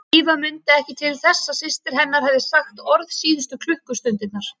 Drífa mundi ekki til þess að systir hennar hefði sagt orð síðustu klukkustundirnar.